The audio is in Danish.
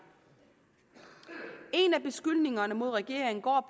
en af beskyldningerne mod regeringen går